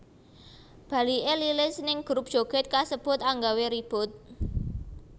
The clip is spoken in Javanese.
Baliké Lilis ning grup joget kasebut anggawé ribut